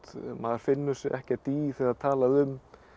maður finnur sig ekkert í þegar er talað um